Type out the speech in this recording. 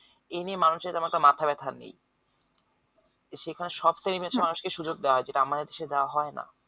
এই নিয়ে মানুষর তেমন একটা মাথা ব্যাথা নেই সেখানে সপ্তাহে মানুষকে সুযোগ দেওয়া হয় যেটা আমাদের দেশে দেওয়া হয় না